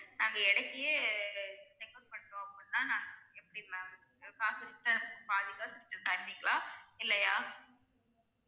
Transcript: நாங்க check out பண்றோம் அப்படினா நாங்க எப்படி ma'am காசு return அனுப்பு பாதி காசு return தருவிங்களா இல்லையா?